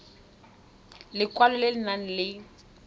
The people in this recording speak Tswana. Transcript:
lekwalo le le nang le